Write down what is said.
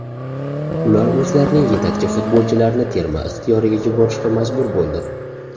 Ular o‘zlarining yetakchi futbolchilarini terma ixtiyoriga yuborishga majbur bo‘ldi.